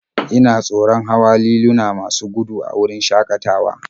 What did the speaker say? Ina tsoron hawa liluna masu gudu a wurin shakatawa